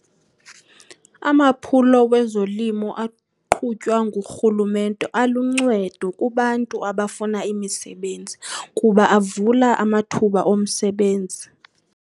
Amaphulo wezolimo aqhutywa ngurhulumente aluncedo kubantu abafuna imisebenzi kuba avula amathuba omsebenzi.